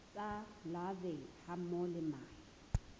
tsa larvae hammoho le mahe